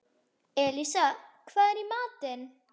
Elísa, hvað er í matinn?